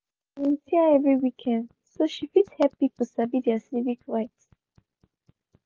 she dey volunteer every weekend so she fit help pipu sabi their civic rights.